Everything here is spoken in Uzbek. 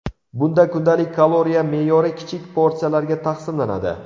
Bunda kundalik kaloriya me’yori kichik porsiyalarga taqsimlanadi.